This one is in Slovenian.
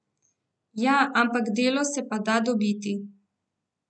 Ja, ampak delo se pa da dobiti.